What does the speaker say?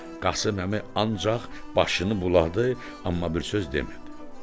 Qasım əmi ancaq başını buladı, amma bir söz demədi.